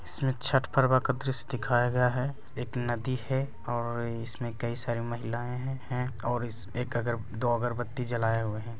इसमें छट पर्व का द्रश्य दिखाया गया है एक नदी है और इसमें कई सारी महिलाएं हैं और इस एक अगर दो अगरबत्ती जलाए हुए हैं।